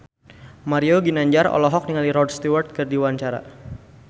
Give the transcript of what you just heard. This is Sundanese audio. Mario Ginanjar olohok ningali Rod Stewart keur diwawancara